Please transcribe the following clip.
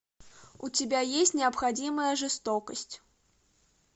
у тебя есть необходимая жестокость